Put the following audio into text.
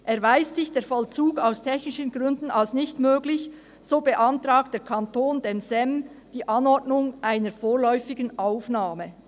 «Erweist sich der Vollzug aus technischen Gründen als nicht möglich, so beantragt der Kanton dem SEM die Anordnung einer vorläufigen Aufnahme.»